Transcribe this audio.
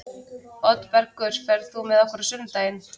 Oddbergur, ferð þú með okkur á sunnudaginn?